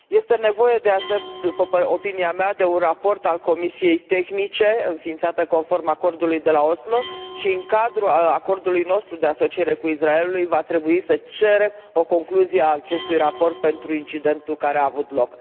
Este nevoie, după opinia mea, de un raport al comisiei tehnice înființate conform Acordului de la Oslo și, în cadrul acordului nostru de asociere cu Israelul, va trebui să cerem o concluzie a acestui raport pentru incidentul care a avut loc.